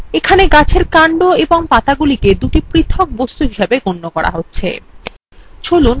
এখানে গাছের কান্ড এবং পাতাগুলিকে দুটি পৃথক বস্তু হিসাবে গণ্য করা হচ্ছে